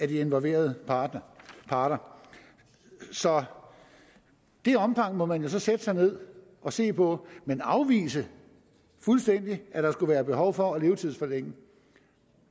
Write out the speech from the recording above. de involverede parter parter så det omfang må man så sætte sig ned og se på men afvise fuldstændig at der skulle være behov for at levetidsforlænge